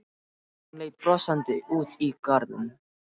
Hún leit brosandi út í garðinn.